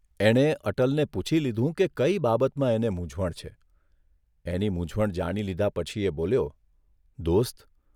એણે અટલને પૂછી લીધું કે કઇ બાબતમાં એને મૂંઝવણ છે એની મૂંઝવણ જાણી લીધા પછી એ બોલ્યોઃ દોસ્ત !